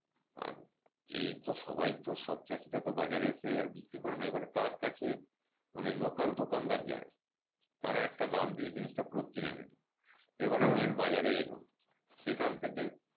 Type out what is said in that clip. আর এই তো সবাই তো সব চাষিরা তো বাজারে এসে আর বিক্রি করে নেয় এবার তার কাছে মানে local দোকানদার যায় তারা একটা দাম দিয়ে জিনিসটা পুরো কিনে নেয় এবারে main বাজারে এলো সেখান থেকে,